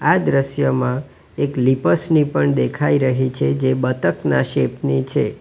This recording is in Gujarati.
આ દ્રશ્યમાં એક લિપસની પણ દેખાઈ રહી છે જે બતક ના શેપ ની છે.